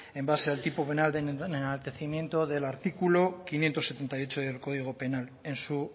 en base al tipo penal de enaltecimiento del artículo quinientos setenta y ocho del código penal en su